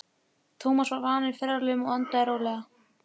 Tómas var vanur ferðalögum og andaði rólega.